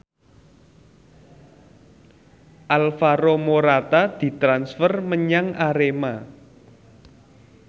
Alvaro Morata ditransfer menyang Arema